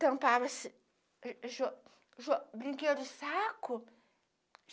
tampava-se jo jo brinquedo de saco.